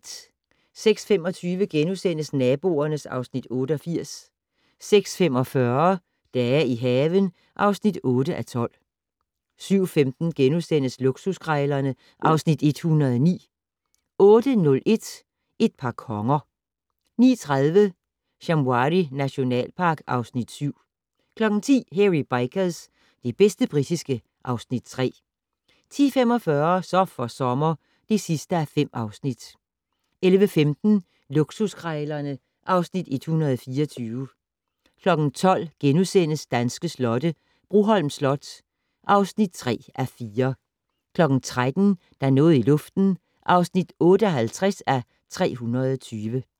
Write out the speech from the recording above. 06:25: Naboerne (Afs. 88)* 06:45: Dage i haven (8:12) 07:15: Luksuskrejlerne (Afs. 109)* 08:01: Et par konger 09:30: Shamwari nationalpark (Afs. 7) 10:00: Hairy Bikers - det bedste britiske (Afs. 3) 10:45: Så for sommer (5:5) 11:15: Luksuskrejlerne (Afs. 124) 12:00: Danske slotte - Broholm Slot (3:4)* 13:00: Der er noget i luften (58:320)